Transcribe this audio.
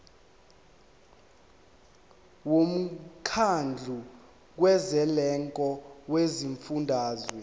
womkhandlu kazwelonke wezifundazwe